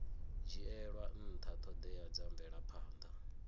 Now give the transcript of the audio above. dzhielwa nṱha ṱhoḓea dza mvelaphanḓa